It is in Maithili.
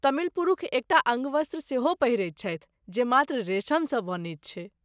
तमिल पुरूष एकटा अङ्गवस्त्र सेहो पहिरैत छथि जे मात्र रेशमसँ बनैत छै।